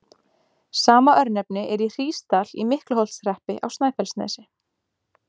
Sama örnefni er í Hrísdal í Miklaholtshreppi á Snæfellsnesi.